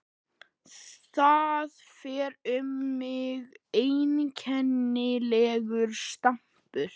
Það fer um mig einkennilegur straumur.